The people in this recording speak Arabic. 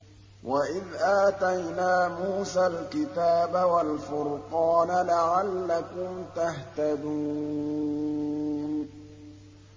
وَإِذْ آتَيْنَا مُوسَى الْكِتَابَ وَالْفُرْقَانَ لَعَلَّكُمْ تَهْتَدُونَ